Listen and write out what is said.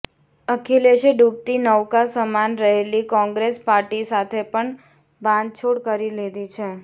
અખિલેશે ડુબતી નૌકા સમાન રહેલી કોંગ્રેસ પાર્ટી સાથે પણ બાંધછોડ કરી લીધી છે